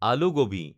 আলু গোবি